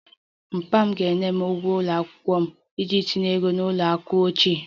Papa m ga-enye m ụgwọ ụlọ akwụkwọ m iji tinye ego n'ụlọ akụ echi